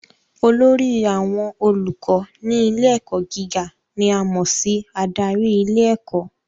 Olórí àwọn olùkọ́ ní ilé ẹ̀kọ́ gíga ni a mọ̀ sí adarí ilé ẹ̀kọ́